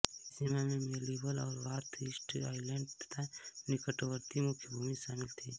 नई सीमा में मेल्विल और बाथर्स्ट आइलैण्ड तथा निकटवर्ती मुख्यभूमि शामिल थी